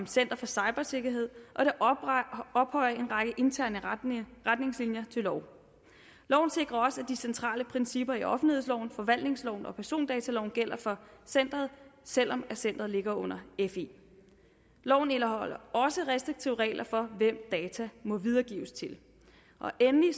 center for cybersikkerhed og det ophøjer en række interne retningslinjer til lov loven sikrer også at de centrale principper i offentlighedsloven forvaltningsloven og persondataloven gælder for centeret selv om centeret ligger under fe loven indeholder også restriktive regler for hvem data må videregives til og endelig